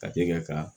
Kate ka